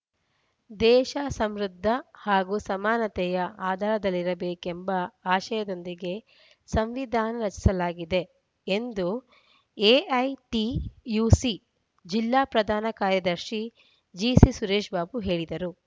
ದೇಶ ಸಮೃದ್ದ ಹಾಗೂ ಸಮಾನತೆಯ ಆಧಾರದಲ್ಲಿರಬೇಕೆಂಬ ಆಶಯದೊಂದಿಗೆ ಸಂವಿಧಾನ ರಚಿಸಲಾಗಿದೆ ಎಂದು ಎಐಟಿಯುಸಿ ಜಿಲ್ಲಾ ಪ್ರಧಾನ ಕಾರ್ಯದರ್ಶಿ ಜಿಸಿಸುರೇಶ್‌ಬಾಬು ಹೇಳಿದರು